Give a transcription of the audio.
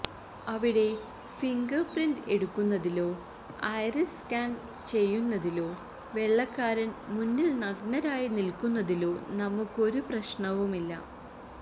അവിടെ ഫിംഗര്പ്രിന്റ് എടുക്കുന്നതിലോ iris scan ചെയ്യുന്നതിലോ വെള്ളക്കാരന് മുന്നില് നഗ്നരായി നില്ക്കുന്നതിലോ നമുക്കൊരു പ്രശ്നവുമില്ല